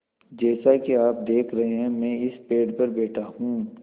जैसा कि आप देख रहे हैं मैं इस पेड़ पर बैठा हूँ